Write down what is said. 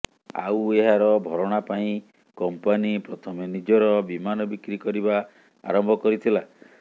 ଆଉ ଏହାର ଭରଣା ପାଇଁ କମ୍ପାନି ପ୍ରଥମେ ନିଜର ବିମାନ ବିକ୍ରି କରିବା ଆରମ୍ଭ କରିଥିଲା